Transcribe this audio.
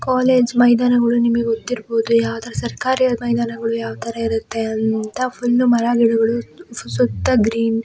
College ಮೈದಾನಗಳು ನಿಮಗ ಗೊತಿರಬಹುದು. ಯಾವತಾರ ಸರ್ಕಾರಿ ಮೈದಾನಗಾಳು ಯಾವತಾರ ಇರುತ್ತೆ ಅಂತ ಫುಲ್ ಮರಗಿಡಗಳು ಸು-ಸುತ್ತ ಗ್ರೀನ್ --